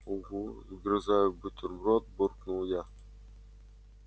угу вгрызаясь в бутерброд буркнул я